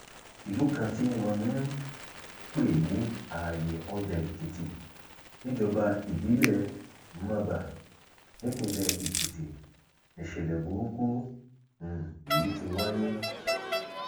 ìlú kan tí wọn ń um pè ní àààyè ọjàèkìtì níjọba ìbílẹ mọbà nípínlẹ èkìtì níṣẹlẹ burúkú um yìí ti wáyé